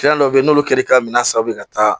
Fɛn dɔw bɛ ye n'olu kɛr'i ka minɛn sanu ye ka taa